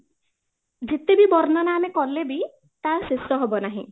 ଯେତେବି ବର୍ଣ୍ଣନା ଆମେ କଲେ ବି ତା ଶେଷ ହବ ନାହିଁ